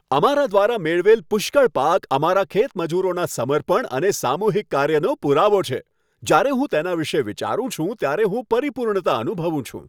અમારા દ્વારા મેળવેલ પુષ્કળ પાક અમારા ખેત મજૂરોનાં સમર્પણ અને સામૂહિક કાર્યનો પુરાવો છે. જ્યારે હું તેના વિશે વિચારું છું ત્યારે હું પરિપૂર્ણતા અનુભવું છું.